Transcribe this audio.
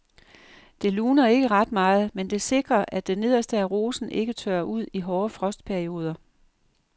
Det luner ikke ret meget, men det sikrer at det nederste af rosen ikke tørrer ud i hårde frostperioder.